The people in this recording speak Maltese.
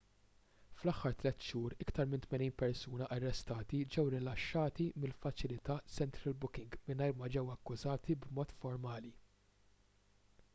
fl-aħħar 3 xhur iktar minn 80 persuna arrestati ġew rilaxxati mill-faċilità central booking mingħajr ma ġew akkużati b'mod formali